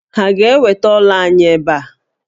Ha ga-eweta ọ́là anyị ebe a?